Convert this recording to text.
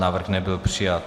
Návrh nebyl přijat.